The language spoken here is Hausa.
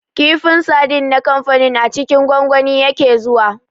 Kifin sardine na kamfanin a cikin gwangwani yake zuwa